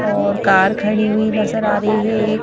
और कार खड़ी हुई नजर आ रही है एक--